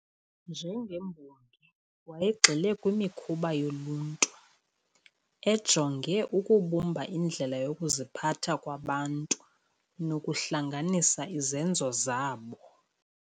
Njengembongi wayegxile kwimikhuba yoluntu, ejonge ukubumba indlela yokuziphatha kwabantu nokuhlanganisa izenzo zabo.